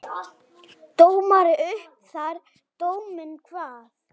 Dómari upp þar dóminn kvað.